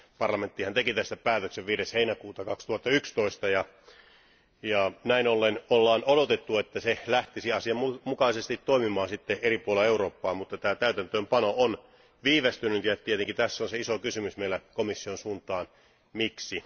Parlamenttihan teki tästä päätöksen 5. heinäkuuta 2011 ja näin ollen on odotettu, että se lähtisi asianmukaisesti toimimaan eri puolilla Eurooppaa, mutta tämä täytäntöönpano on viivästynyt ja tietenkin tässä on se iso kysymys meillä komission suuntaan Miksi?